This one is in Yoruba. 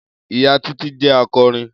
Iya Titi jẹ akọrin.